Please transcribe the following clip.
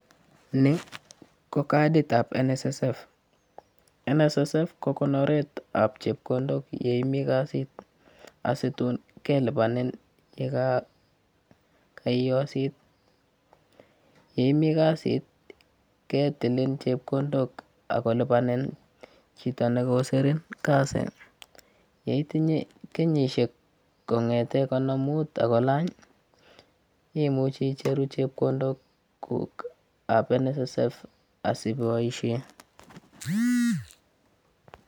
Ni ko kaditab NSSF. NSSF ko konoretab chepkondok yeimi kasit asitun kelipanin yekaiosit. Yeimi kasit ketilin chepkondok akolipanin chito nekosirim kasi. Yeitinye kenyishek kong'ete konomut akolany imuchi icheru chepkondokuk kab NSSF asiboishe.